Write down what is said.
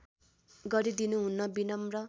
गरि दिनुहुन विनम्र